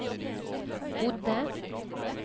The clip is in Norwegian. bodde